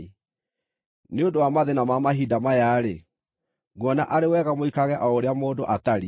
Nĩ ũndũ wa mathĩĩna ma mahinda maya-rĩ, nguona arĩ wega mũikarage o ũrĩa mũndũ atariĩ.